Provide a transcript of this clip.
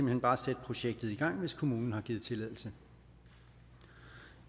hen bare sætte projektet i gang hvis kommunen har givet tilladelse